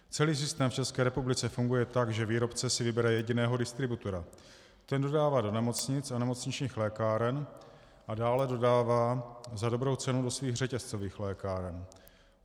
Celý systém v České republice funguje tak, že výrobce si vybere jediného distributora, ten dodává do nemocnic a nemocničních lékáren a dále dodává za dobrou cenu do svých řetězcových lékáren.